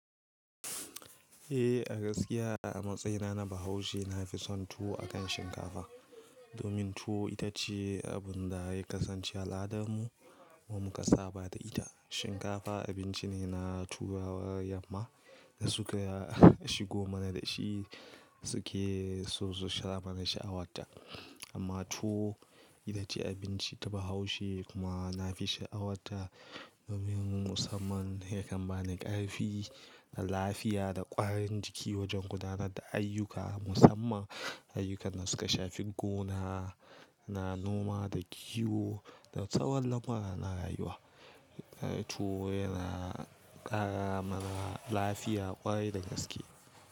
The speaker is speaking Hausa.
Eh a gaskiya a matsayina na Bahaushe na fi son tuwo akan shinkafa domin tuwo ita ce abin da ya kasance al'adarmu wa mu ka saba da ita. Shinkafa abinci ne na turawan yamma da suke ya shigo mana da shi suke so su sha mana sha'awarta. Amma tuwo ita ce abinci ta Bahaushe kuma na fi sha'awarta domin musamman ya kan ba ni ƙarfi da lafiya da ƙwarin jiki wajen gudanar da ayyuka musamman ayyukan da suke shafin gona, na noma da kiwo da tsawon lamura na rayuwa. Tuwo yana ƙara mana lafiya ƙwarai da gaske.